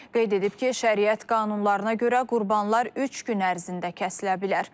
Qeyd edib ki, şəriət qanunlarına görə qurbanlar üç gün ərzində kəsilə bilər.